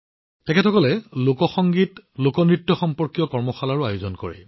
এই লোকসকলে লোক সংগীত আৰু লোক নৃত্যৰ সৈতে সম্পৰ্কিত কৰ্মশালাৰো আয়োজন কৰে